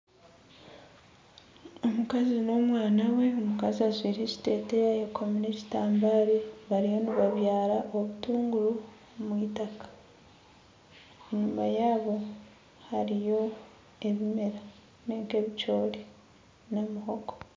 Omukazi n'omwana we omukazi ajwire ekiteteya ayekomire ekitambara bariyo nibabyara obutunguru omw'itaka, enyuma yaabo hariyo ebimera nk'ebicoori na muhogo.